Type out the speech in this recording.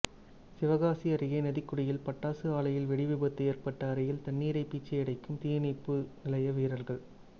சிவகாசி அருகே நதிக்குடியில் பட்டாசு ஆலையில் வெடிவிபத்து ஏற்பட்ட அறையில் தண்ணீரை பீய்ச்சி அடிக்கும் தீயணைப்பு நிலைய வீரா்கள்